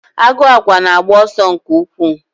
Agụ àgwà na-agba ọsọ nke ukwuu.